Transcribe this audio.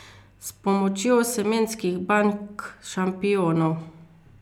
S pomočjo semenskih bank šampionov.